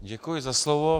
Děkuji za slovo.